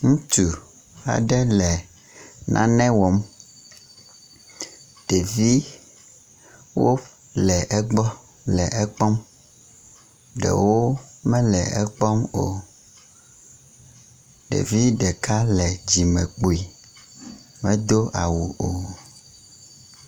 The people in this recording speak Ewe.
ŋutsu aɖe le nane wɔm ɖevi aɖewo le egbɔ le ekpɔm ɖewo mele ekpɔm o ɖevi ɖeka le dzime kpui medó awu o